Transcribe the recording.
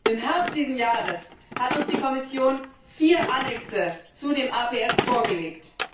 Im Herbst dieses Jahres hat uns die Kommission vier Anhänge zu dem APS vorgelegt.